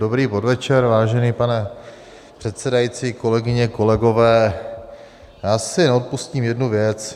Dobrý podvečer, vážený pane předsedající, kolegyně, kolegové, já si neodpustím jednu věc.